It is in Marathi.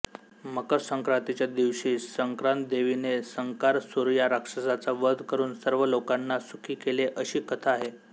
मकरसंक्रांतीच्या दिवशी संक्रांतीदेवीने संकारसूर या राक्षसाचा वध करून सर्व लोकांना सुखी केले अशी कथा आहे